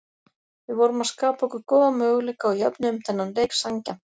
Við vorum að skapa okkur góða möguleika og jöfnuðum þennan leik sanngjarnt.